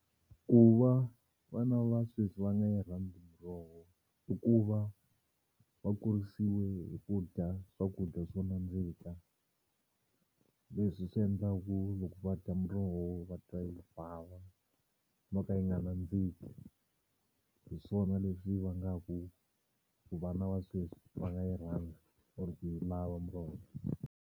Ku va vana va sweswi va nga yi rhandza miroho i ku va va kurisiwe hi ku dya swakudya swo nandzika leswi swi endlaku loko va dya muroho va twa yi bava no ka yi nga nandziki. Hi swona leswi vangaku ku vana va sweswi va nga yi rhandza or ku yi lava muroho.